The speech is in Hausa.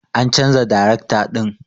An chanza darekta din.